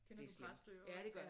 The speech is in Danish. Kender du Præstø også